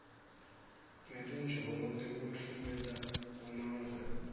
ngetinjongo tekutfumela kumave